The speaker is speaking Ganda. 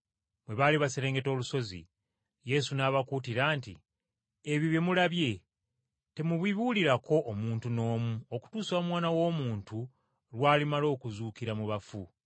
Bwe baali baserengeta olusozi, Yesu n’abakuutira nti, “Ebyo bye mulabye temubibuulirako omuntu n’omu okutuusa Omwana w’Omuntu lw’alimala okuzuukira mu bafu.”